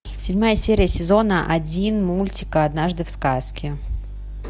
седьмая серия сезона один мультика однажды в сказке